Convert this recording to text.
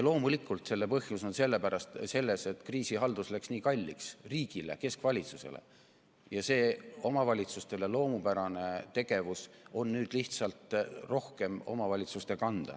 Loomulikult on põhjus selles, et kriisihaldus läks riigile, keskvalitsusele nii kalliks, ja see omavalitsustele loomupärane tegevus on nüüd lihtsalt rohkem omavalitsuste kanda.